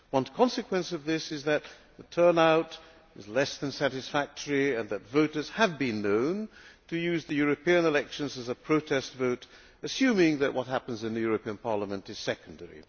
A consequence of this is that the turnout is less than satisfactory and that voters have been known to use the European elections as a protest vote, assuming that what happens in the European Parliament is secondary.